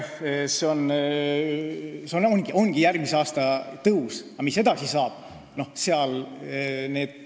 See on järgmisel aastal, aga mis edasi saab?